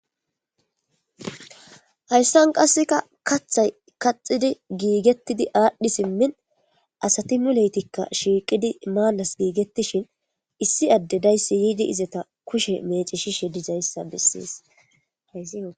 Haysa qaseka kathay kaxidi gigetidi adhi simin asati muletika shiqidii Manas gigetishin issi Ade daysi yidi izeta kushe mecishishe dizaysa beses